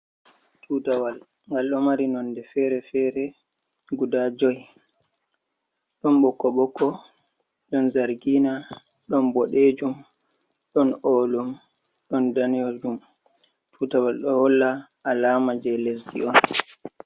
Tutawal ngal ɗo mari nonde fere fere guda jo'i ɗon ɓokko ɓokko, ɗon zangina, ɗon boɗejum, ɗon olum ɗon danejum. Tutawal ɗo holla alama je lesdi on.